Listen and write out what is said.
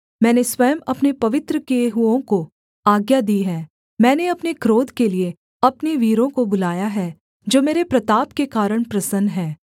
मैंने स्वयं अपने पवित्र किए हुओं को आज्ञा दी है मैंने अपने क्रोध के लिये अपने वीरों को बुलाया है जो मेरे प्रताप के कारण प्रसन्न हैं